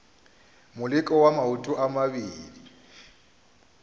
moleko wa maoto a mabedi